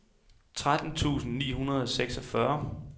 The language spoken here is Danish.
tretten tusind ni hundrede og seksogfyrre